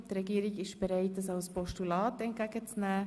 Die Regierung ist bereit, sie als Postulat entgegenzunehmen.